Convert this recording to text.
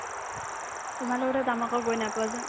তোমাৰ লগতে ধেমালি কৰি নাই পোৱা যে